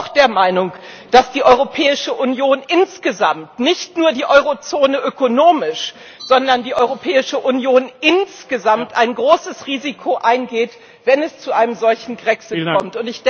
Ich bin aber auch der Meinung, dass die Europäische Union insgesamt, nicht nur die Eurozone ökonomisch, sondern die Europäische Union insgesamt, ein großes Risiko eingeht, wenn es zu einem solchen Grexit kommt.